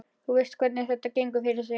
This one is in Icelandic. Þú veist hvernig þetta gengur fyrir sig.